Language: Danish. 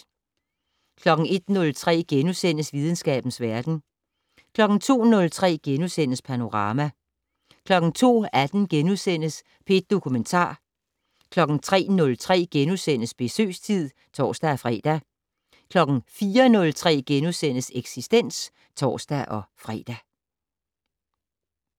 01:03: Videnskabens verden * 02:03: Panorama * 02:18: P1 Dokumentar * 03:03: Besøgstid *(tor-fre) 04:03: Eksistens *(tor-fre)